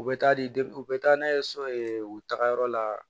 U bɛ taa di u bɛ taa n'a ye so u tagayɔrɔ la